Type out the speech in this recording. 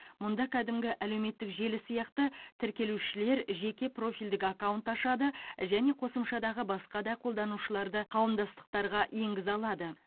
мұнда кәдімгі әлеуметтік желі сияқты тіркелушілер жеке профильдік аккаунт ашады және қосымшадағы басқа да қолданушыларды қауымдастықтарға енгізе алады